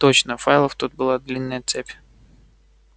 точно файлов тут была длинная цепь